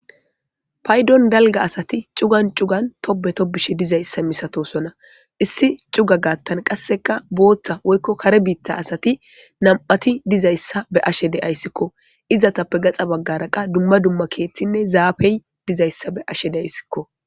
paydon dalga asati cugan cugan tobe tobishe dizayssa misatosona issi cuga gaattan qasseka booththa woykko kare biitta asati nam'ati dizayssa be'ashe de'ayssikko izatappe gaxa baggara qa dumma dumma keeththinne zaafey dizayssa beashe dayssikko